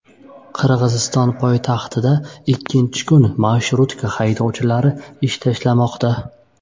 Qirg‘iziston poytaxtida ikkinchi kun marshrutka haydovchilari ish tashlashmoqda.